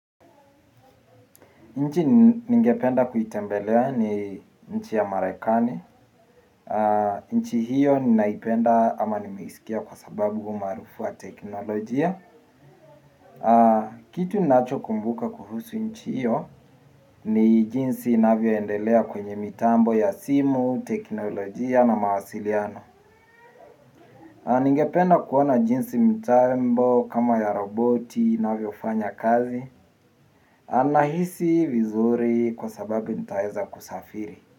Nchi ningependa kuitembelea ni nchi ya marekani. Nchi hiyo ninaipenda ama nimeisikia kwa sababu umaarufu wa teknolojia. Kitu ninachokumbuka kuhusu nchi hiyo ni jinsi inavyoendelea kwenye mitambo ya simu, teknolojia na mawasiliano. Ningependa kuona jinsi mitambo kama ya roboti, inavyofanya kazi. Nahisi vizuri kwa sababu nitaweza kusafiri.